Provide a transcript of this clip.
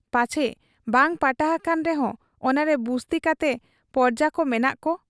ᱯᱟᱪᱷᱮ ᱵᱟᱝ ᱯᱟᱴᱟ ᱦᱟᱠᱟᱱ ᱨᱮᱦᱚᱸ ᱚᱱᱟᱨᱮ ᱵᱩᱥᱛᱤ ᱠᱟᱛᱮ ᱯᱚᱨᱡᱟᱠᱚ ᱢᱮᱱᱟᱜ ᱠᱚ ?